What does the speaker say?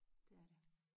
Det er det